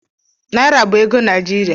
Naira bụ ego Naijiria.